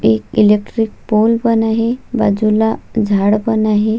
एक electric pole पण आहे बाजूला झाड पण आहे.